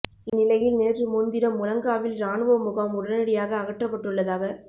இந்நிலையில் நேற்று முன்தினம் முழங்காவில் இராணுவ முகாம் உடனடியாக அகற்றப்பட்டுள்ளதாக